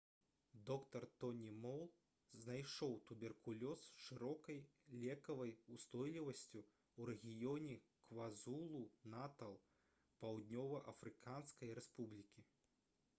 доктар тоні мол знайшоў туберкулёз з шырокай лекавай устойлівасцю ў рэгіёне квазулу-натал паўднёва-афрыканскай рэспублікі